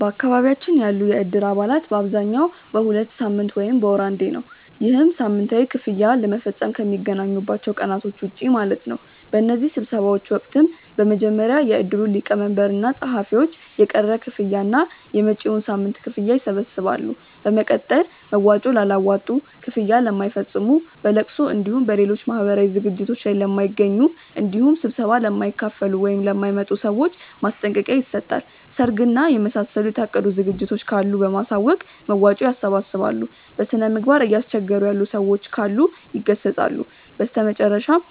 በአካባቢያችን ያሉ የእድር አባላት በአብዛኛው በሁለት ሳምንት ወይም በወር አንዴ ነው። ይህም ሳምንታዊ ክፍያ ለመፈፀም ከሚገናኙባቸው ቀናቶች ውጪ ማለት ነው። በእነዚህ ስብሰባዎች ወቅትም በመጀመሪያ የእድሩ ሊቀመንበር እና ፀሀፊዎች የቀረ ክፍያ እና የመጪዉን ሳምንት ክፍያ ይሰበስባሉ። በመቀጠል መዋጮ ላላዋጡ፣ ክፍያ ለማይፈፅሙ፣ በለቅሶ እንዲሁም በሌሎች ማህበራዊ ዝግጅቶት ላይ ለማይገኙ እንዲሁም ስብሰባ ለማይካፈሉ ( ለማይመጡ) ሰዎች ማስጠንቀቂያ ይሰጣል። ሰርግ እና የመሳሰሉ የታቀዱ ዝግጅቶች ካሉ በማሳወቅ መዋጮ ያሰባስባሉ። በስነምግባር እያስቸገሩ ያሉ ሰዎች ካሉ ይገሰፃሉ። በመጨረሻም